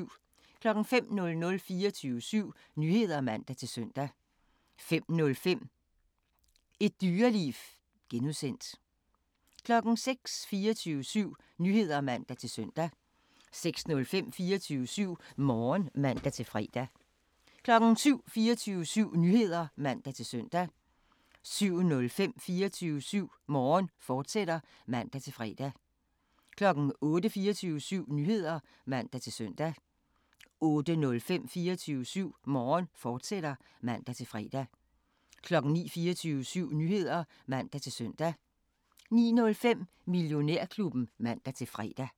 05:00: 24syv Nyheder (man-søn) 05:05: Et Dyreliv (G) 06:00: 24syv Nyheder (man-søn) 06:05: 24syv Morgen (man-fre) 07:00: 24syv Nyheder (man-søn) 07:05: 24syv Morgen, fortsat (man-fre) 08:00: 24syv Nyheder (man-søn) 08:05: 24syv Morgen, fortsat (man-fre) 09:00: 24syv Nyheder (man-søn) 09:05: Millionærklubben (man-fre)